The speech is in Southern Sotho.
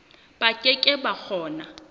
ba ke ke ba kgona